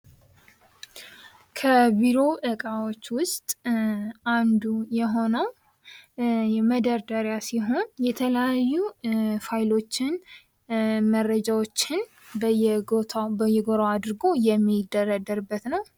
ከቢሮ እቃዎች ዉስጥ አንዱ የሆነው መደርደሪያ ሲሆን የተለያዩ ፋይሎችን መረጃዎችን በየጎራው አድርጎ የሚደረደርበት ነው::